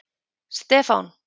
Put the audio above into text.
Stefán